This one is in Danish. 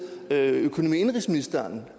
økonomi og indenrigsministeren